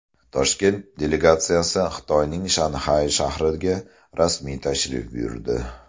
Toshkent delegatsiyasi Xitoyning Shanxay shahriga rasmiy tashrif buyurdi.